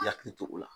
I yakili to o la